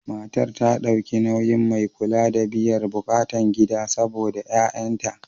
Matan ta dauki nauyin mai kula da biyar bukatan gida saɓoda ƴa'ƴanta.